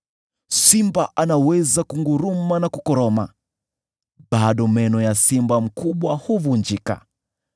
Simba anaweza kunguruma na kukoroma, lakini bado meno ya simba mkubwa huvunjika.